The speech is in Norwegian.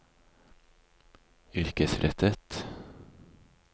yrkesrettet